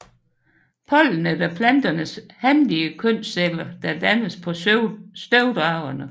Pollenet er planternes hanlige kønsceller der dannes på støvdragerne